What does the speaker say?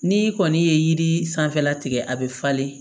N'i kɔni ye yiri sanfɛla tigɛ a bɛ falen